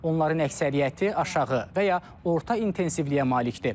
Onların əksəriyyəti aşağı və ya orta intensivliyə malikdir.